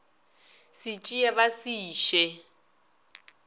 se tsee ba se iše